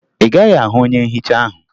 Ị gaghị ahụ onye nhicha ahụ